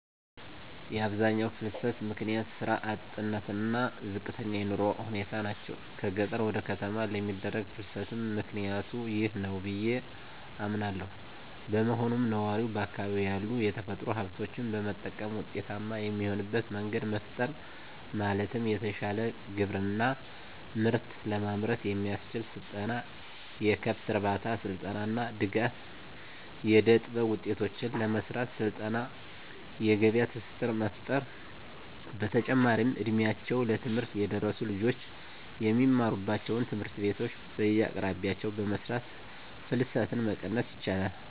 የአብዛኛው ፍልሰት ምክንያት ስራ አጥነት እና ዝቅተኛ የኑሮ ሁኔታ ናቸው። ከገጠር ወደ ከተማ ለሚደረግ ፍልስትም ምክኒያቱ ይህ ነው ብዬ አምናለው። በመሆኑም ነዋሪው በአካባቢው ያሉ የተፈጥሮ ሀብቶችን በመጠቀም ውጤታማ የሚሆንበት መንገድ መፍጠር ማለትም የተሻለ ግብርና ምርት ለማምረት የሚያስችል ስልጠና፣ የከብት እርባታ ስልጠና እና ድጋፍ. ፣ የእደጥበብ ውጤቶችን ለመሰራት ስልጠና የገበያ ትስስር መፍጠር። በተጨማሪም እ ድሜያቸው ለትምህርት የደረሱ ልጆች የሚማሩባቸውን ትምህርት ቤቶች በየአቅራቢያቸው በመስራት ፍልሰትን መቀነስ ይቻላል።